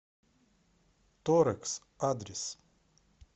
торекс адрес